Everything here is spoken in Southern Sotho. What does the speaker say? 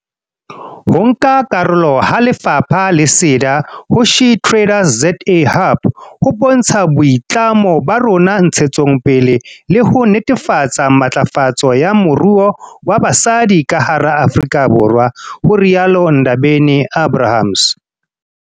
"Ho nka karolo ha lefapha le SEDA ho SheTradesZA Hub ho bontsha boitlamo ba rona ntshetsong pele le ho netefatsa matlafatso ya moruo wa basadi ka hara Afrika Borwa," ho rialo Ndabeni-Abrahams.